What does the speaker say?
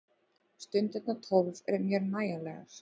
Stundirnar tólf eru mér nægjanlegar.